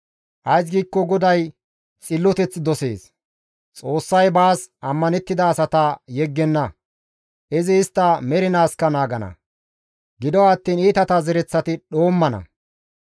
Ays giikko GODAY xilloteth dosees. Xoossay baas ammanettida asata yeggenna; izi istta mernaaskka naagana. Gido attiin iitata zereththati dhoommana.